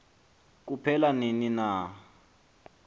kuphela nini na